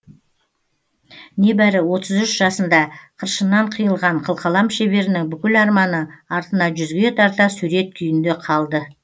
небәрі отыз үш жасында қыршыннан қиылған қылқалам шеберінің бүкіл арманы артына жүзге тарта сурет күйінде қалды